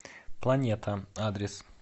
планета адрес